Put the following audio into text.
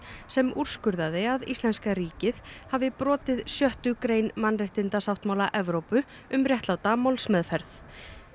sem úrskurðaði að íslenska ríkið hafi brotið sjöttu grein mannréttindasáttmála Evrópu um réttláta málsmeðferð